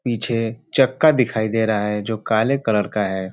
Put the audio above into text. पीछे चक्का दिखाई दे रहा है जो काले कलर का है।